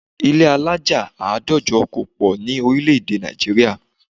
Ilé alájà àádọ́jọ kò pọ̀ ní orílẹ̀ èdè Nàìjíríà